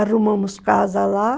Arrumamos casa lá